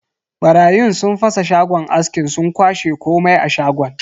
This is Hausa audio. Barayin sun fasa shagon askin sun kwashe komai a shagon.